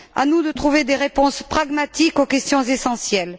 À nous de trouver des réponses pragmatiques aux questions essentielles.